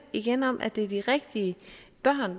igen om at det er de rigtige børn